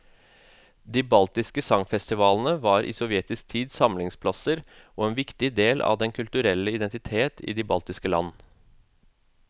De baltiske sangfestivalene var i sovjetisk tid samlingsplasser og en viktig del av den kulturelle identitet i de baltiske land.